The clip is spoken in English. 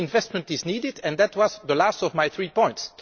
Public investment is needed, and that was the last of my three points.